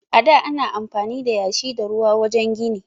A da ana amfani da yashi da ruwa wajen gini.